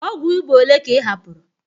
Ọgwụ ịba ole ka ị hapụrụ?